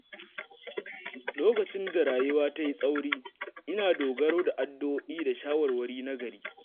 Lokacin da rayuwa ta yi tsauri, ina dogaro da addu’o'i da shawarwari nagari.